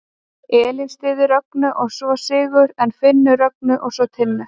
Elín styður Rögnu og svo Sigurð en Finnur Rögnu og svo Tinnu.